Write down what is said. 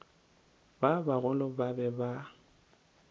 ba bagolo ba be ba